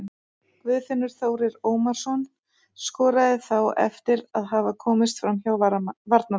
Guðfinnur Þórir Ómarsson skoraði þá eftir að hafa komist framhjá varnarmanni.